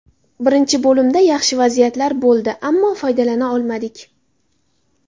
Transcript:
Birinchi bo‘limda yaxshi vaziyatlar bo‘ldi, ammo foydalana olmadik.